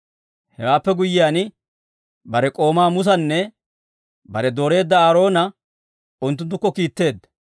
Hewaappe guyyiyaan, bare k'oomaa Musanne bare dooreedda Aaroona unttunttukko kiitteedda.